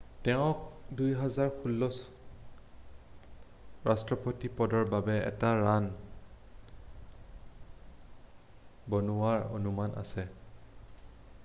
তেওঁক 2016ত ৰাষ্ট্ৰপতি পদৰ বাবে এটা ৰাণ বনোৱাৰ অনুমান আছে